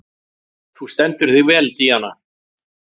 Þú stendur þig vel, Díana!